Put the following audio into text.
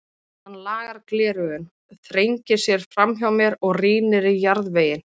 Hann lagar gleraugun, þrengir sér framhjá mér og rýnir í jarðveginn.